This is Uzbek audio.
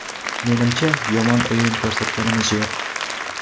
Menimcha, yomon o‘yin ko‘rsatganimiz yo‘q.